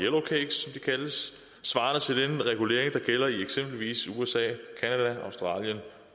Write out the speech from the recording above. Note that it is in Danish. kaldes svarende til den regulering der gælder i eksempelvis usa canada australien